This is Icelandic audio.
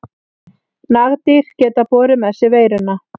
Nagdýr geta borið með sér veiruna.